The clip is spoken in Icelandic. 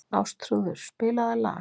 Ástþrúður, spilaðu lag.